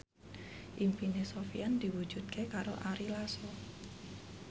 impine Sofyan diwujudke karo Ari Lasso